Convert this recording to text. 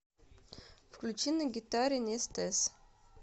включи на гитаре нестез